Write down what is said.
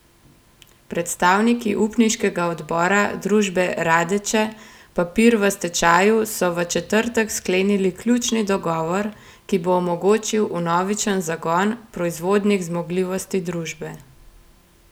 Predstavniki upniškega odbora družbe Radeče papir v stečaju so v četrtek sklenili ključni dogovor, ki bo omogočil vnovičen zagon proizvodnih zmogljivosti družbe.